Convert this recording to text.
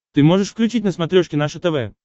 ты можешь включить на смотрешке наше тв